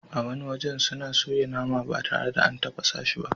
A wani wajen suna soya nama ba tare da an tafasa shi ba.